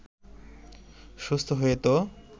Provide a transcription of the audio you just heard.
সুস্থ হয়েও তো